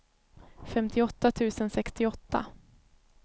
femtioåtta tusen sextioåtta